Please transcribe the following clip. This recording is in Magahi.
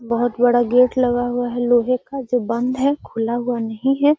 बहुत बड़ा गेट लगा हुआ है लोहे का जो बंद है खुला हुआ नहीं है।